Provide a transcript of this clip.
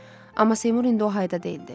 Amma Seymur indi o hayda deyildi.